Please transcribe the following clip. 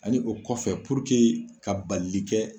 Ani o kɔfɛ puruke ka balili kɛ